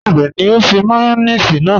Níbẹ̀ ni o fi màyọ̀nèṣì náà?